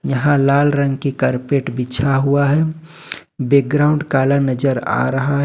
यहां लाल रंग की कारपेट बिछा हुआ है बैकग्राउंड काला नजर आ रहा है।